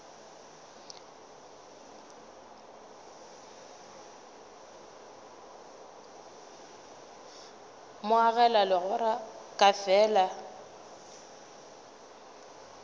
mo agela legora ka lefeela